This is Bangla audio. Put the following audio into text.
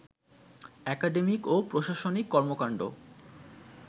একাডেমিক ও প্রশাসনিক কর্মকাণ্ড